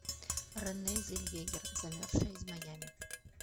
рене зеллвегер замерзшая из майами